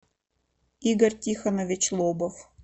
игорь тихонович лобов